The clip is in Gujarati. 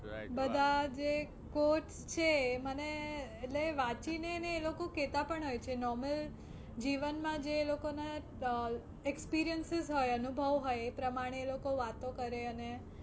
બધા જે coach છે મને એટલે વાંચી ને એ લોકો કેતા પણ હોય છે normal જીવનમાં જે એ લોકો નાં experiences હોય અનુભવ હોય એ પ્રમાણે એ લોકો વાતો કરે અને